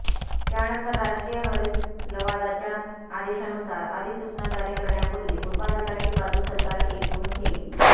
त्यानंतर राष्ट्रीय हरित लवादाच्या आदेशानुसार अधिसूचना जारी करण्यापूर्वी उत्पादकांची बाजू सरकार ऐकून घेईल